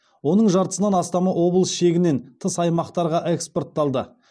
оның жартысынан астамы облыс шегінен тыс аймақтарға экспортталды